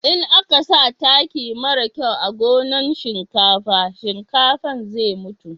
in a ka sa taki mara kyau a gonan shinkafa, shinkafan zai mutu